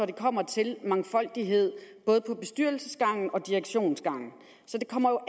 det kommer til mangfoldighed både på bestyrelsesgangen og direktionsgangen så det kommer